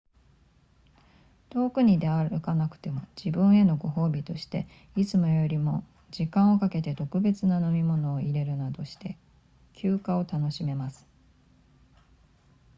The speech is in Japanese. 遠くに出歩かなくても自分へのご褒美としていつもよりも時間をかけて特別な飲み物を淹れるなどして休暇を楽しめます